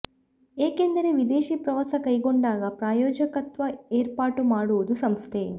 ಏಕೆಂದರೆ ವಿದೇಶಿ ಪ್ರವಾಸ ಕೈಗೊಂಡಾಗ ಪ್ರಾಯೋಜಕತ್ವ ಏರ್ಪಾಟು ಮಾಡು ವುದು ಸಂಸ್ಥೆ